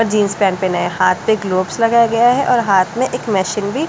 jeans पैन पहन है हाथ पे ग्लोब्स लगाया गया है और हाथ में एक मैशिंग भी--